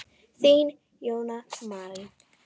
Þín, Jóna Marín.